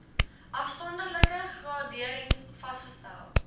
afsonderlike graderings vasgestel